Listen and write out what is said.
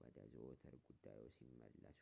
ወደ ዘወትር ጉዳይዎ ሲመለሱ